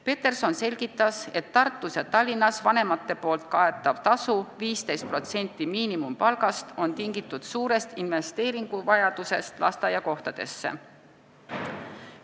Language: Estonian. Peterson selgitas, et Tartus ja Tallinnas vanemate makstav tasu 15% miinimumpalgast on tingitud suurest vajadusest lasteaiakohtadesse investeerida.